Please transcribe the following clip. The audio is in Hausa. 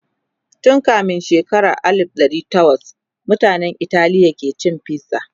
tun kamin shekara alif dari tawas mutanan Italiya ke cin fiza